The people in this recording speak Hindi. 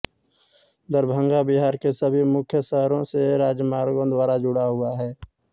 दरभंगा बिहार के सभी मुख्य शहरों से राजमार्गों द्वारा जुड़ा हुआ है